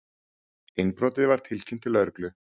Innbrotið var tilkynnt til lögreglu